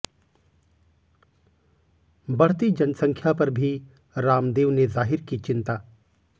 बढ़ती जनसंख्या पर भी रामदेव ने जाहिर की चिंता